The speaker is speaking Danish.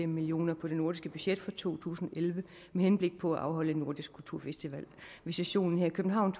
millioner på det nordiske budget for to tusind og elleve med henblik på at afholde en nordisk kulturfestival ved sessionen her i københavn